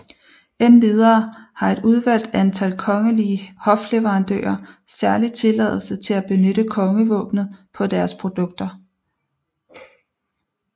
Endvidere har et udvalgt antal kongelige hofleverandører særlig tilladelse til at benytte kongevåbnet på deres produkter